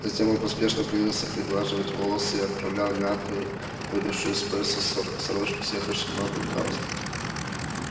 затем он поспешно принялся приглаживать волосы и оправлять мятую выбившуюся из-за пояса сорочку и съехавший набок галстук